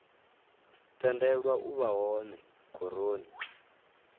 tendelwa u vha hone khoroni